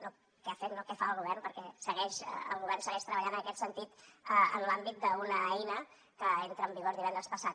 no què ha fet què fa el govern perquè segueix el govern segueix treballant en aquest sentit en l’àmbit d’una eina que entra en vigor divendres passat